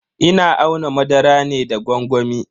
Ina auna madara ne da gwangwami.